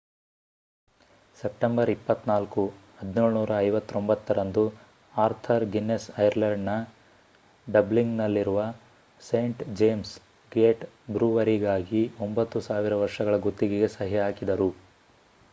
September 24 1759 ರಂದು Arthur Guinness ಐರ್ಲೆಂಡ್‌ನ ಡಬ್ಲಿನ್‌ನಲ್ಲಿರುವ ಸೇಂಟ್ ಜೇಮ್ಸ್ ಗೇಟ್ ಬ್ರೂವರಿಗಾಗಿ 9,000 ವರ್ಷಗಳ ಗುತ್ತಿಗೆಗೆ ಸಹಿ ಹಾಕಿದರು